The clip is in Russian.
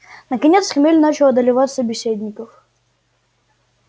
наконец хмель начал одолевать собеседников